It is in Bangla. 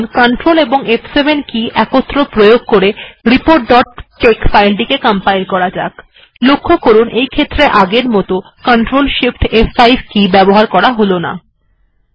এখন রিপোর্ট ডট টেক্স ফাইল টিকে সিআরটিএল এবং ফ7 কে এর একত্র প্রয়োগের দ্বারা কম্পাইল্ করা যাক